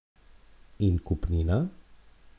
In kupnina?